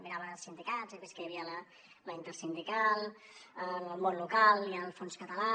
mirava els sindicats he vist que hi havia la intersindical el món local i el fons català